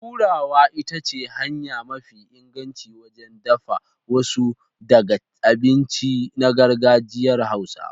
Turarawa ita ce hanya mafi inganci wajen dafa wasu daga abinci na gargajiyar Hausawa.